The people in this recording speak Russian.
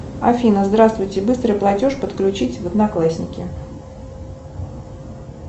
афина здравствуйте быстрый платеж подключить в одноклассники